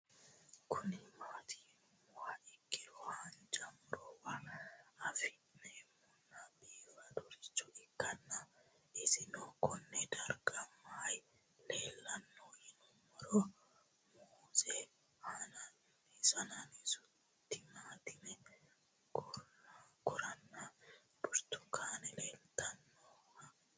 Kuni mati yinumoha ikiro hanja murowa afine'mona bifadoricho ikana isino Kone darga mayi leelanno yinumaro muuze hanannisu timantime gooranna buurtukaane leelitoneha